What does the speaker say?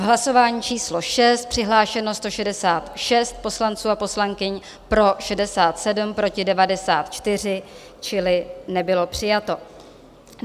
V hlasování číslo 6 přihlášeno 166 poslanců a poslankyň, pro 67, proti 94, čili nebylo přijato.